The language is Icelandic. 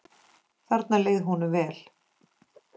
Þarna leið honum vel.